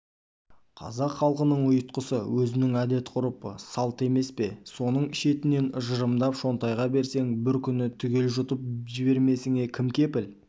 қазақ халқының ұйтқысы өзінің әдет-ғұрпы салты емес пе сонысын шетінен жырымдап шонтайға берсең бір күні түгел жұтып жібермесіңе кім кепіл